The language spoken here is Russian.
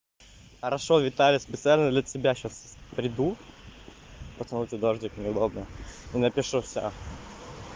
хорошо виталя специально для тебя сейчас приду просто на улице дождик не удобно и напишу всё